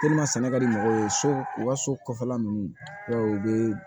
sɛnɛ ka di mɔgɔw ye so u ka so kɔfɛla nunnu i b'a ye u bɛ